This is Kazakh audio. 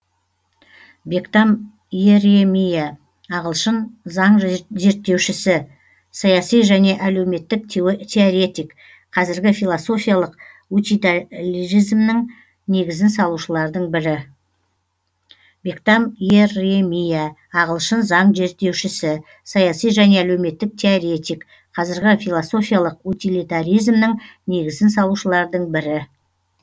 бектам иеремия ағылшын заң зерттеушісі саяси және әлеуметтік теоретик қазіргі философиялық утилитаризмнің негізін салушылардың бірі